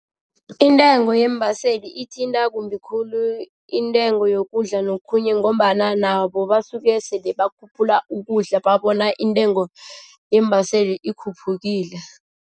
Intengo yeembaseli ithinta kumbi khulu intengo yokudla nokhunye ngombana nabo basuke sele bakhuphula ukudla babona intengo yeembaseli ikhuphukile.